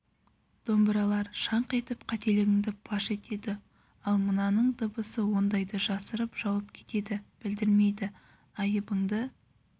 домбыралар шаңқ етіп қателігіңді паш етеді ал мынаның дыбысы ондайды жасырып жауып кетеді білдірмейді айыбыңды